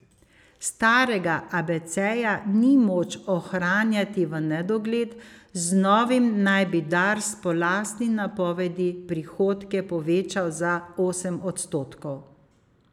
Starega abeceja ni moč ohranjati v nedogled, z novim naj bi Dars po lastni napovedi prihodke povečal za osem odstotkov.